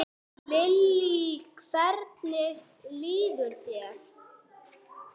Lillý: Hvernig líður þér?